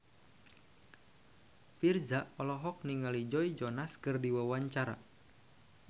Virzha olohok ningali Joe Jonas keur diwawancara